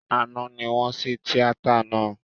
Àná ní wọ́n ṣí tíátà náà